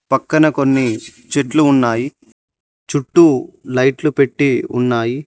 పక్కన కొన్ని చెట్లు ఉన్నాయి చుట్టూ లైట్లు పెట్టి ఉన్నాయి.